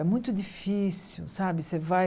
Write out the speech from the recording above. É muito difícil, sabe? Você vai